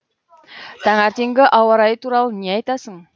тәңертеңгі ауа райы туралы не айтасың